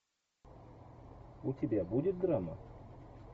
у тебя будет драма